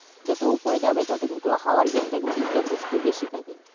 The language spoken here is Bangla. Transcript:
যত উপরে যাবে তত হাওয়ার বেগটা কিন্তু যথেষ্ট বেশি থাকে